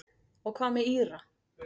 Og hvað með Íra?